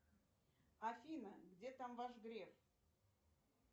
афина где там ваш греф